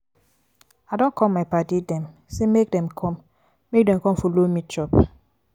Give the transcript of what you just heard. i don call my paddy dem sey make dem com make dem com folo me chop.